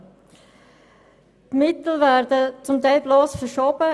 Die Mittel werden teilweise bloss verschoben.